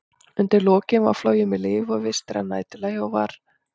Undir lokin var flogið með lyf og vistir að næturlagi, og var